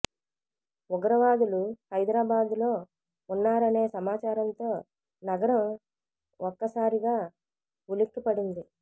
ఉగ్రవాదు లు హైదరాబాద్లో ఉన్నారనే సమాచారంతో నగ రం ఒక్కసారిగా ఉలిక్కిపడింది